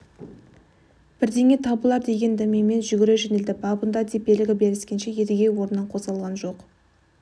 бірдеңе табылар деген дәмемен жүгіре жөнелді бабында деп белгі беріскенше едіге орнынан қозғалған жоқ